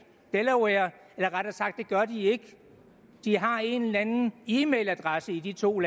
delaware eller rettere sagt det gør de ikke de har en eller anden e mail adresse i de to